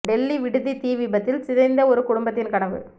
டெல்லி விடுதி தீ விபத்தில் சிதைந்த ஒரு குடும்பத்தின் கனவு